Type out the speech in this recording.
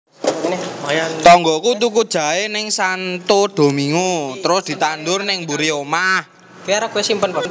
Tonggoku tuku jahe ning Santo Domingo trus ditandur ning mburi omah